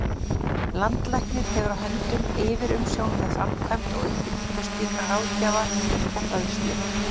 Landlæknir hefur á höndum yfirumsjón með framkvæmd og uppbyggingu slíkrar ráðgjafar og fræðslu.